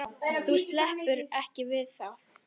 Þú sleppur ekki við það!